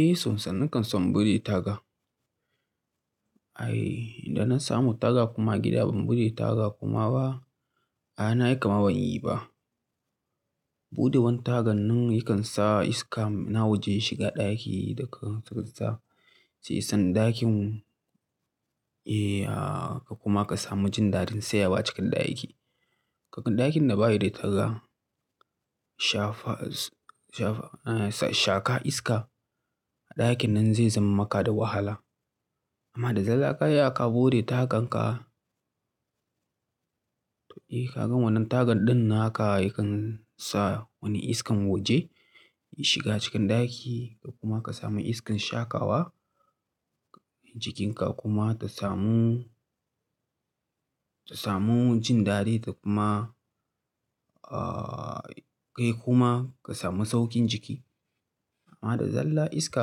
Eh, son sa nakan so in buɗe taga. Ai, idan na samu taga kuma gida ban buɗe taga kuma ba, ai, nayi kaman ma ban yi ba. Buɗe wan tagan nan yakan sa iska na waje yashiga ɗaki daga tsakarsa. Sai san ɗakin, eh, ko kuma ka samu jin dadin sayawa acikin ɗaki. Kakan ɗakin da bayi da taga, shafa, shafa, a'a, sha-shakan iska a ɗakin nan zai zama maka da wahala. Amma da zarra ka iya ka buɗe tagan ka, to eh, ka gan wannan tagan ɗin naka yakan sa wani iskan waje ya shiga cikin ɗaki kuma ka sami iskan shakawa jikinka kuma ta samu, ta samu jin dadi ta kuma, ahh, kai kuma ka sami sauƙin jiki. Amma da zalla iska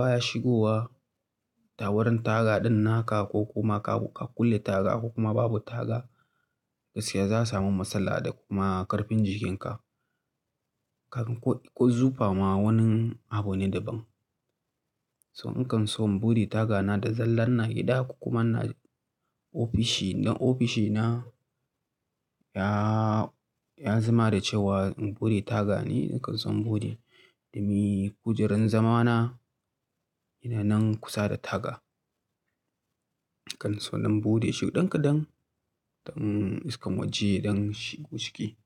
baya shigowa tawurin taga ɗin naka ko kuma ka kulle taga ko kuma babu taga, gaskiya za samu matsala da kuma ƙarfin jikinka. Kagan ƙo-ƙozufa ma wani abu ne daban. So nakan so in buɗe taga na da zallar ina gida ko kuma ina ofishi. Don ofishi na ya, ya zama da cewa in buɗe taga ne, nakan so in buɗe. Domin kujerar zama na ina nan kusa da taga. Nakan so in buɗe shi dan ka dan, dan iskan waje yadan shigo ciki.